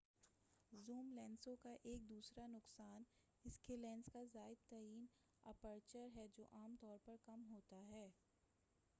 zoom لینسوں کا ایک دوسرا نقصان اسکے لینس کا زائد ترین اپرچر رفتار ہے جو عام طور پر کم ہوتا ہے-